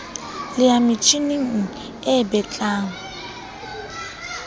le ya metjhining e betlang